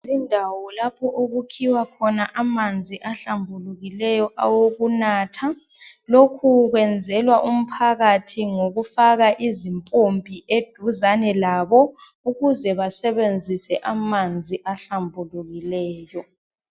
Indawo lapho okukhiwa khona amanzi ahlambukileyo awokunatha. Lokhu kwenzelwa umphakathi ngokufaka izimpompi eduze labo ukuze basebenzise amanzi ahlambulukileyo.